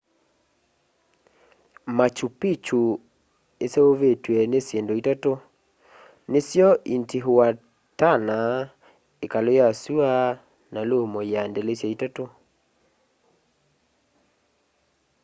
machu picchu iseuvitw'e ni syindu itatu nisyo intihuatana ikalu ya sua na lumu ya ndilisya itatu